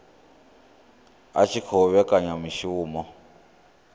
i tshi khou vhekanya mishumo